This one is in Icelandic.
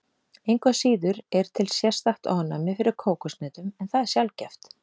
Engu að síður er til sérstakt ofnæmi fyrir kókoshnetum en það er sjaldgæft.